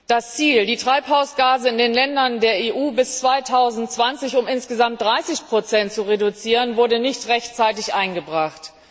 Das Ziel, die Treibhausgase in den Ländern der EU bis 2020 um insgesamt 30 zu reduzieren, wurde nicht rechtzeitig eingebracht.